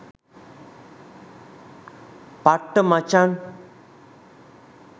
පට්ට මචං